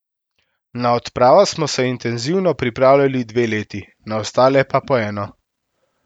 Na odpravo smo se intenzivno pripravljali dve leti, na ostale pa po eno.